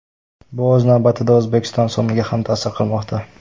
Bu o‘z navbatida O‘zbekiston so‘miga ham ta’sir qilmoqda.